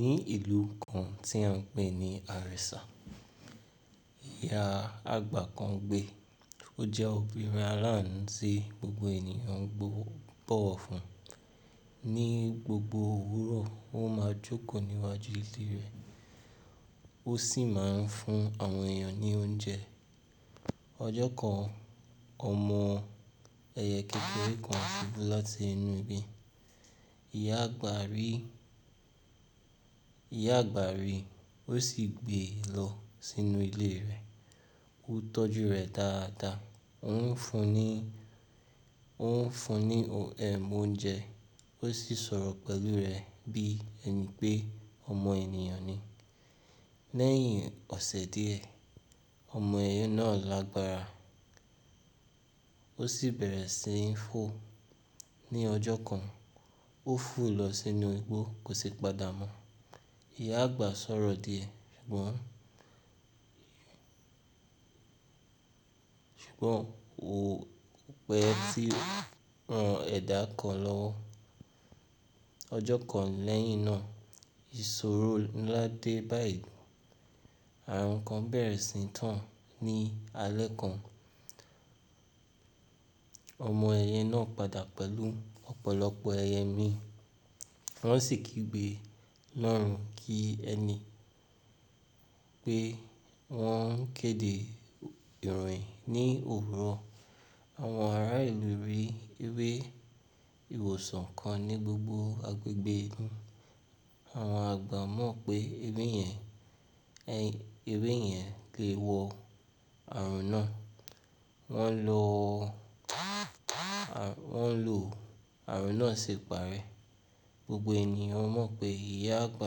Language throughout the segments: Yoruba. Ní ìlú kan tí a ń pè ní Àrẹ̀sà, ìyá àgbà kan gbé. Ó jẹ́ obìnrin aláanu ti gbogbo ènìyàn ń bọ̀wọ̀ fún. Ni gbogbo òwúrọ̀, ó máa jókòó níwájú ilé rẹ̀, ó sì máa ń fún àwọn èèyàn ní oúnjẹ. Ọjọ́ kan, ọmọ ẹyẹ kékeré kan ti kú láti inú igi. Iya Ìyá àgbà rí i, ó sì gbé e lọ sínú ilé rẹ̀. Ó tọ́jú rẹ̀ dáadáa, ó ń fún ní, ó ń fún ní ohun é móúnjẹ, ó sì ń sọ̀rọ̀ pẹ̀lú rẹ̀ bí ẹni pé ọmọ ènìyàn ni. Lẹ́yìn ọ̀sẹ̀ díẹ̀, ọmọ ẹyẹ náà lágbára, ó sì bẹ̀rẹ̀ sí ń fò. Ni ọjọ́ kan, ó fò lọ sínú igbó, kò sì padà mọ́. Ìyá àgbà ṣọ́rọ̀ díẹ̀ ṣùgbọ́n, ṣùgbọ́n wò pẹ́ tí wọn ẹ̀dá kan lọ́wọ́. Ọjọ́ kan lẹ́yìn náà, ìṣòro ńlá dé bá ìlú. Ààrùn kan bẹ̀rẹ̀ síi tàn ní alẹ́ kan. Ọmọ ẹyẹ náà padà pẹ̀lú ọ̀pọ̀lọpọ̀ ẹyẹ míì. Wọ́n sì kí gbé lọ́run kí ẹni pé wọ́n ń kéde ìròyìn ní òwúrọ̀. Àwọn ará ìlú rí ewé ìwòsàn kan ní gbogbo agbègbè. Àwọn àgbà mọ̀ pé ewé yẹn, ewé yẹn le wo ààrùn náà. Wọ́n lo àwọn, wọ́n lo ààrùn náà ṣì pàrẹ́. Gbogbo ènìyàn mọ̀ pé ìyá àgbà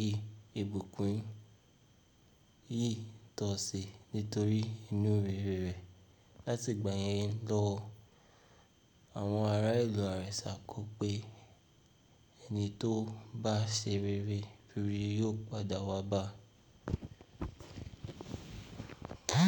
yìí ibukú yìí tọ̀sì nítorí inú rere rẹ̀. Látìgbà yẹn lọ, àwọn ará ìlú Àrẹ̀sà kọ pé ẹni tó bá ṣe rere, rere yóò padà wá bá a.